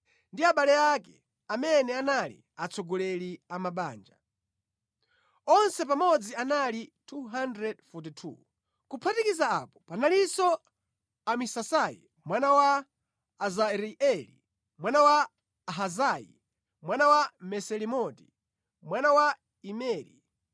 ndi abale ake, amene anali atsogoleri a mabanja. Onse pamodzi anali 242. Kuphatikiza apo panalinso Amasisai mwana wa Azaireli, mwana wa Ahazayi, mwana wa Mesilemoti, mwana wa Imeri